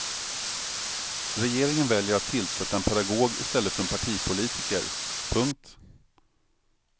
Regeringen väljer att tillsätta en pedagog i stället för en partipolitiker. punkt